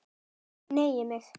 Hneigi mig.